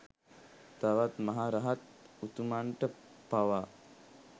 තවත් මහ රහත් උතුමන්ට පවා